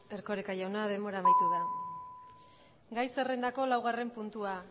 erkoreka jauna denbora amaitu da gai zerrendako laugarren puntua